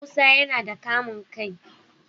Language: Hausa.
Musa yana da kamun kai